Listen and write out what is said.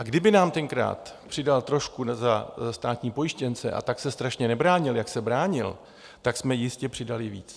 A kdyby nám tenkrát přidal trošku za státní pojištěnce a tak se strašně nebránil, jak se bránil, tak jsme jistě přidali víc.